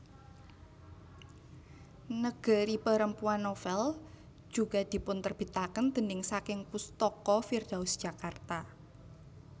Negeri Perempuan novel juga dipunterbitaken déning saking Pustaka Firdaus Jakarta